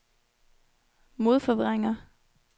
modforvrænger